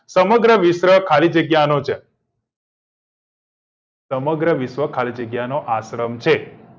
સમગ્ર વિશ્વ ખાલી જગ્યા નો છે સમગ્ર વિશ્વ ખાલી જગ્યાનો આશ્રમ છે